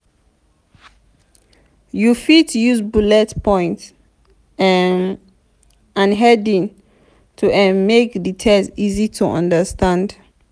you fit use bullet points um and heading to um make di text easy to understand